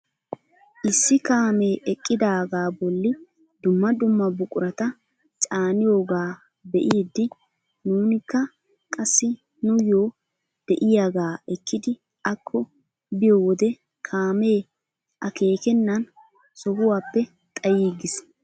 Issi kaamee eqqidagaa bolli dumma dumma buqurata caaniyoogaa be'idi nuunikka qassi nuyoo de'iyaaga ekkidi akko biyoo wode kaamee akeekennan sohuwaappe xayiigis!